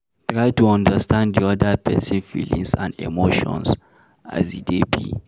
Try to understand di oda person feelings and emotions as e dey be